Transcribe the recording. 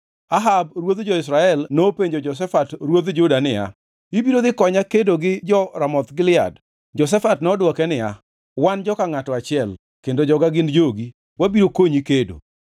Ahab ruodh jo-Israel nopenjo Jehoshafat ruodh Juda niya, “Ibiro dhi konya kedo gi jo-Ramoth Gilead?” Jehoshafat nodwoke niya, “Wan joka ngʼato achiel, kendo joga gin jogi, wabiro konyi kedo.”